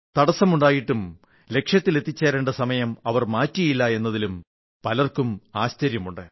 തടസ്സമുണ്ടായിട്ടും ലക്ഷ്യത്തിൽ എത്തിച്ചേരേണ്ട സമയം അവർ മാറ്റിയില്ല എന്നതിലും പലർക്കും ആശ്ചര്യമുണ്ട്